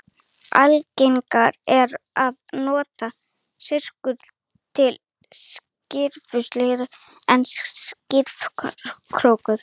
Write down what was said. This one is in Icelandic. algengara er að nota sykurreyr til sykurframleiðslu en sykurrófur